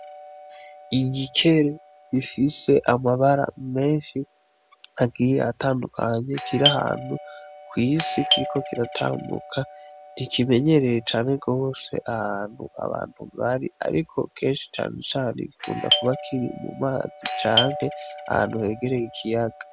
Igikere gifise amabara menshi agiye atandukanye kir’ahantu kw’isi kiriko kiratanbuka, ntikimenyereye cane gose ahantu abantu bari ariko kenshi cane cane gikunda kuba kiri mu mazi canke ahantu hegereye ikiyaga.